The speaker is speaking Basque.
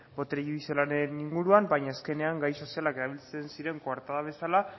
botere judizialaren inguruan baina azkenean gai soziala erabiltzen ziren koartada bezala